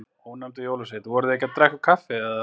Ónefndur jólasveinn: Voruð þið að drekka kaffi, er það ekki?